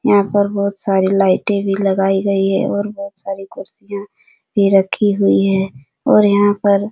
यहाँ पर बहुत सारी लाइटे भी लगाई गई हैं और यहाँ बहुत सारी कुर्सियाँ भी रखी हुई हैं और यहाँ पर --